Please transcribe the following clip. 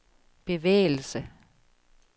bevægelse